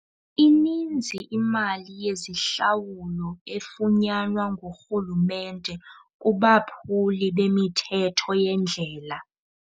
Ininzi imali yezihlawulo efunyanwa ngurhulumente kubaphuli bemithetho yendlela.